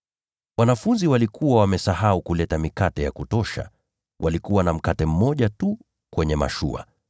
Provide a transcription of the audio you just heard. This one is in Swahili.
Wanafunzi walikuwa wamesahau kuchukua mikate ya kutosha. Walikuwa na mkate mmoja tu kwenye mashua.